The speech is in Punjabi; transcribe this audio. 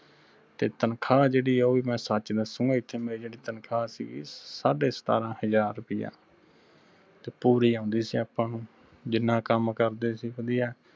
ਤੇ ਤਨਖਾਹ ਜਿਹੜੀ ਉਹ ਵੀ ਮੈਂ ਸੱਚ ਦਸੁਗਾ ਐਥੇ ਮੈ ਜਿਹੜੀ ਮੇਰੀ ਤਨਖਾਹ ਸੀਗੀ ਸਾਢੇ ਸਤਾਰਾਂ ਹਜਾਰ ਰਿਪਿਆ ਤੇ ਪੂਰੀ ਉਂਦੀ ਸੀ ਆਪਾਂ ਨੂੰ ਜਿਨ੍ਹਾਂ ਕੰਮ ਕਰਦੇ ਸੀ ਵਧਿਆ।